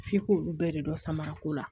F'i k'olu bɛɛ de dɔn samara ko la